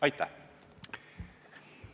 Aitäh!